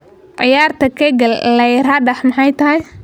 Ciyarta kegel layiradox maxay tahy?